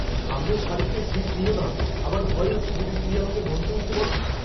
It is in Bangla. সামনের সারিতে সীট নিও না। আমার ভয় হচ্ছে, যদি তিনি আমাকে মঞ্চে উঠতে বলেন।